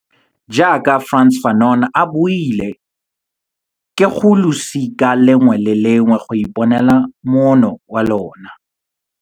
Jaaka Frantz Fanon a buile, ke go losika lengwe le lengwe go iponela moono wa lona.